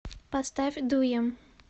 поставь дуем